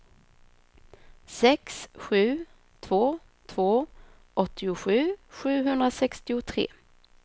sex sju två två åttiosju sjuhundrasextiotre